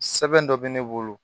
Sɛbɛn dɔ bɛ ne bolo